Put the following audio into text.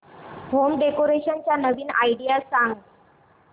home decoration च्या नवीन idea सांग